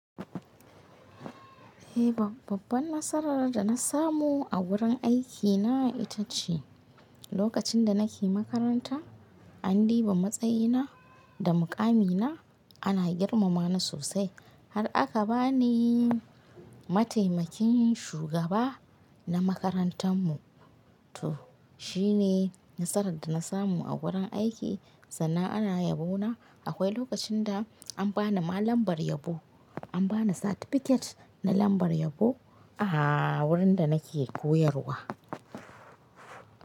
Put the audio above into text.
Eh, babban nasarar da na samu a wurin aikina ita ce, lokacin da nake makaranta andiba matsayina da mukamina ana girmama ni sosai har aka ba ni mataimakin shugaba na makarantar mu. To shine nasarar da na samu a wurin aiki sannan ana yabona. Akwai lokacin da an bani ma lambar yabo, an bani certificate na lambar yabo a wurin da nake koyarwa.